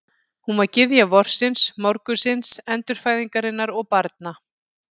Hún var gyðja vorsins, morgunsins, endurfæðingarinnar og barna.